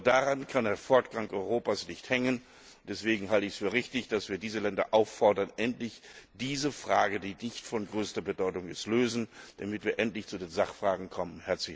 Daran kann der Fortgang Europas nicht hängen, und deswegen halte ich es für richtig, dass wir diese Länder auffordern, endlich diese Frage, die nicht von größter Bedeutung ist, zu lösen, damit wir endlich zu den Sachfragen kommen.